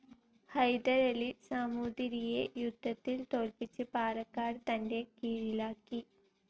ഹൈദരലി സാമൂതിരിയെ യുദ്ധത്തിൽ തോൽപിച്ച് പാലക്കാട് തൻ്റെ കീഴിലാക്കി.